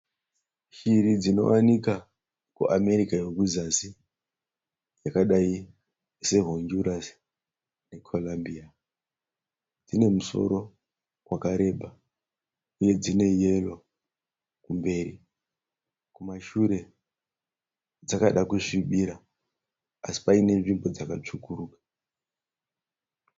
Shiri dzinowanikwa kuAmerika yekuzasi. Yakadai sehuchurasi nekwerambiya. Inemusoro wakareba nedzine yero kumberi, kumashure dzakada kusvibira asi paine nzvimbo dzakatsvukuka.